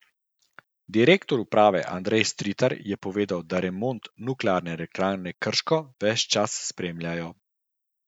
Direktor uprave Andrej Stritar je povedal, da remont Nuklearne elektrarne Krško ves čas spremljajo.